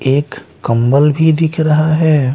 एक कंबल भी दिख रहा हैं।